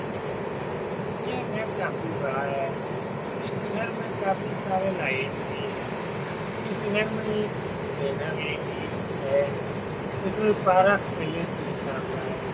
घर है ये घर काफी बड़ा है इस घर में काफी सारे लाइट भी है इस घर में एक बैनर बी भी है इस में पारस पैलेस लिखा हुआ है.